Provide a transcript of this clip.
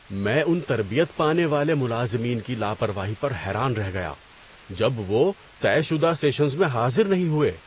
میں ان تربیت پانے والے ملازمین کی لا پرواہی پر حیران رہ گیا جب وہ طے شدہ سیشنز میں حاضر نہیں ہوئے۔